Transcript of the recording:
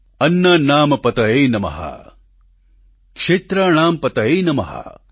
અન્નાનામ પતયે નમઃ ક્ષેત્રાણામ પતયે નમઃ